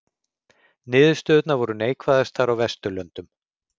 Niðurstöðurnar voru neikvæðastar á Vesturlöndum